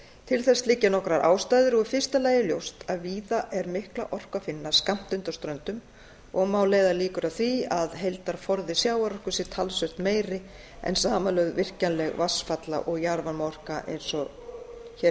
til þess liggja nokkrar ástæður í fyrsta lagi er ljóst að víða er mikla orku að finna skammt undan ströndum og má leiða líkur að því að heildarforði sjávarorku sé talsvert meiri en samanlögð virkjanleg vatnsfalla og jarðvarmaorka eins og hér